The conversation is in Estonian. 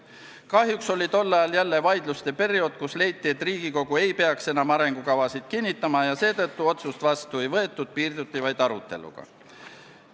Kahjuks oli tol ajal jälle vaidluste periood, kus leiti, et Riigikogu ei peaks enam arengukavasid kinnitama, ja seetõttu otsust vastu ei võetud, piirduti vaid aruteluga.